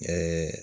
Ɛɛ